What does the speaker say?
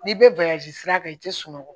N'i bɛ bagaji sira kan i tɛ sunɔgɔ